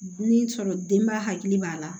Ni sɔrɔ denbaya hakili b'a la